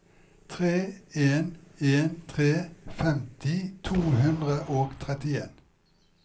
tre en en tre femti to hundre og trettien